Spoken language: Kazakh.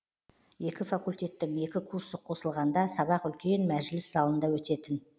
екі факультеттің екі курсы қосылғанда сабақ үлкен мәжіліс залында өтетін